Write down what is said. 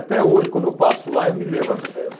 Até hoje, quando eu passo lá, eu me lembro. as eh